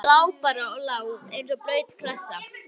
Hann lá bara og lá eins og blaut klessa.